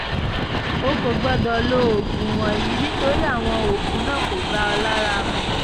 o kò gbọ́dọ̀ lo oògùn wọ̀nyí; nítorí àwọn oògùn náà kò bá ọ lára mu